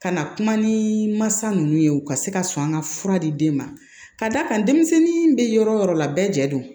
Ka na kuma ni mansa ninnu ye u ka se ka sɔn an ka fura di den ma ka d'a kan denmisɛnnin bɛ yɔrɔ o yɔrɔ la bɛɛ jɛ don